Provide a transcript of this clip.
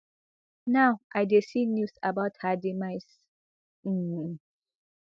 now i dey see news about her demise um